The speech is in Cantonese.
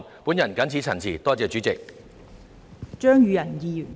我謹此陳辭，多謝代理主席。